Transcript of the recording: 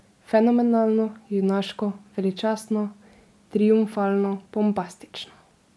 Fenomenalno, junaško, veličastno, triumfalno, bombastično.